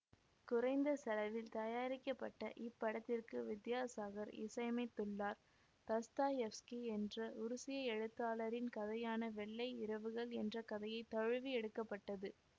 குறைந்த செலவில் தயாரிக்கப்பட்ட இப்படத்திற்கு வித்யாசாகர் இசையமைத்துள்ளார் தஸ்தாயெவ்ஸ்கி என்ற உருசிய எழுத்தாளரின் கதையான வெள்ளை இரவுகள் என்ற கதையை தழுவி எடுக்க பட்டது